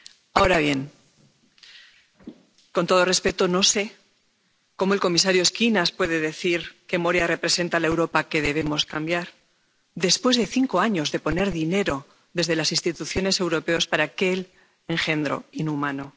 Ahora bien, con todo respeto, no sé cómo el comisario Schinas puede decir que Moria representa la Europa que debemos cambiar, después de cinco años de poner dinero, desde las instituciones europeas, para aquel engendro inhumano.